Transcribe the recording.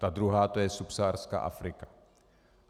Ta druhá, to je subsaharská Afrika.